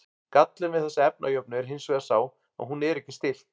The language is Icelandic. gallinn við þessa efnajöfnu er hins vegar sá að hún er ekki stillt